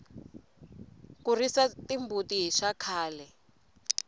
ku risa timbuti hi swa khale